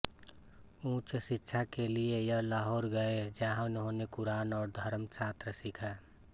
उच्च शिक्षा के लिये यह लाहोर गये जहां इन्होने कुरान और् धर्मशास्त्र सीखा